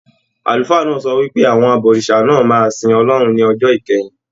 Àlùfáà náà sọ wípé, Àwọn abọ̀rìṣà náà máa sìn Ọlọ́run ní ọjọ́ ìkẹyìn.